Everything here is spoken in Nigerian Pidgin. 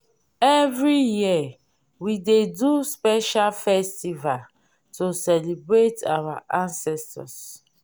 every year we dey do special festival to celebrate our ancestors